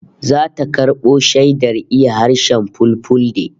Zata karbo shaidar iya harshen Fulfulde